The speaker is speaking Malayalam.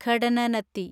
ഘടനനത്തി